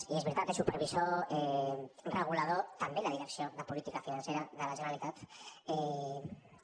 i és veritat supervisor regulador també la direcció de política financera de la generalitat també